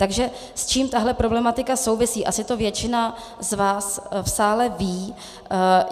Takže s čím tahle problematika souvisí - asi to většina z vás v sále ví.